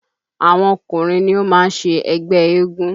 Àwọn Ọkùnrin ni ó máa ń ṣe ẹgbẹ́ eégún